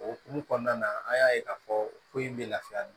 O hokumu kɔnɔna na an y'a ye k'a fɔ ko in bɛ lafiya